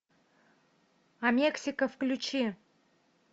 а мексика включи